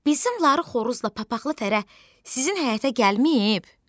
Bizim ları Xoruzla papaxlı Fərə sizin həyətə gəlməyib?